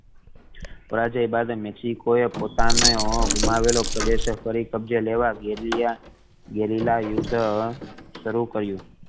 હારાજે બાદે મેક્સિકો એ પોતાનો ગુમાવેલો પ્રદેશ ફરી કબ્જે લેવા ગેલીલા ગેલીલા યુદ્ધ શરુ કર્યું